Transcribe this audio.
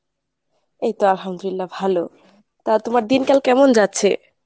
এইতো আলহামদুলিল্লাহ ভালো, তা তোমার দিনকাল কেমন যাচ্ছে ?